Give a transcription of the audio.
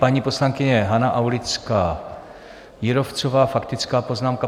Pana poslankyně Hana Aulická Jírovcová, faktická poznámka.